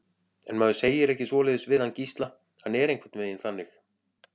En maður segir ekki svoleiðis við hann Gísla, hann er einhvern veginn þannig.